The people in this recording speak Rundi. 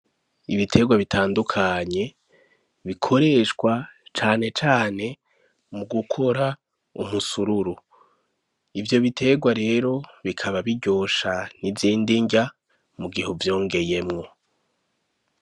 Ibiterwa bitandukanye bikoreshwa cane cane mu gukora ubusururu , ivyo biterwa rero bikaba biryosha n'izindi nrya mu gih'uvyongeyemwo.